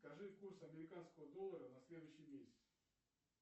скажи курс американского доллара на следующий месяц